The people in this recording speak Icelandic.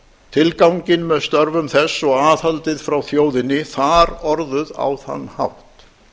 tilganginn með störfum þess og aðhaldið frá þjóðinni þar orðuð á þann hátt